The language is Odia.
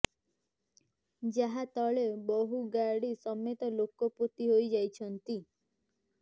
ଯାହା ତଳେ ବହୁ ଗାଡ଼ି ସମେତ ଲୋକ ପୋତି ହୋଇଯାଇଛନ୍ତି